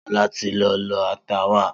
Sola ti lọ lọ ata wá